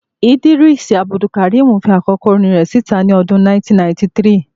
Idrees Abdulkareem fi àkọ́kọ́ orin rẹ̀ síta ní ọdún 1993